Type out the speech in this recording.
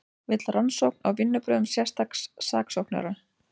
Vill rannsókn á vinnubrögðum sérstaks saksóknara